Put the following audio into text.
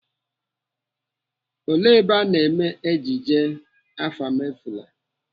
Ele ebe anọ mee ejije Afamefuna?